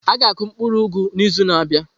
A ga-akụ mkpuru ugu n'izu na-abịa.